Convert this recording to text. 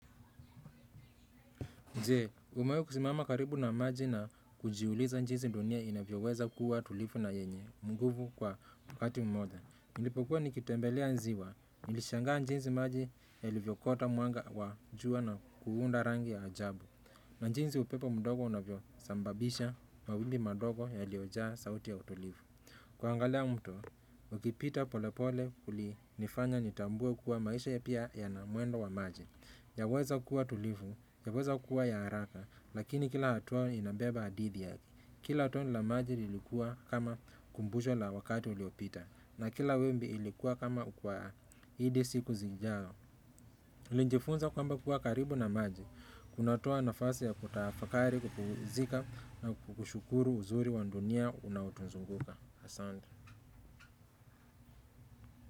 Je, umewahi kusimama karibu na maji na kujiuliza jinsi dunia inavyoweza kuwa tulivu na yenye nguvu kwa wakati mmoja? Nilipokuwa nikitembelea ziwa, nilishangaa jinsi maji yalivyokuwa yalivyofuata mwanga wa jua na kuunda rangi za ajabu. Na jinsi upepo mdogo unavyosababisha mawimbi madogo yaliyojaa sauti tulivu. Kuangalia mtu, ukipita polepole kulinifanya nitambue kuwa maisha pia yana mwendo wa maji. Yaweza kuwa tulivu, yaweza kuwa ya haraka, lakini kila hatua inabeba hadithi yake. Kila tone la maji lilikuwa kama kumbusho la wakati uliopita. Na kila wimbi lilikuwa kama ukumbusho. Hadi siku zijazo. Nilijifunza kwamba kuwa karibu na maji. Kunatoa nafasi ya kutafakari, kupumzika na kushukuru uzuri wa dunia unaotuzunguka. Asante.